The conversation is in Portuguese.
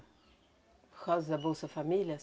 Por causa da Bolsa Família?